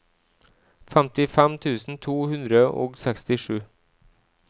femtifem tusen to hundre og sekstisju